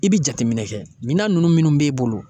I bi jateminɛ kɛ, minan nunnu minnu b'e bolo